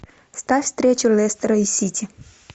ставь встречу лестера и сити